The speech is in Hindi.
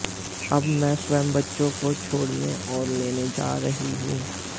अब मैं स्वयं बच्चों को छोड़ने और लेने जा रही हूं